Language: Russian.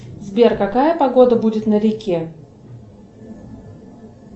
сбер какая погода будет на реке